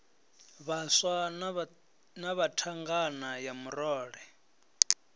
vhaswa na thangana ya murole